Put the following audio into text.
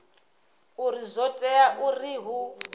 uri zwo tea uri hu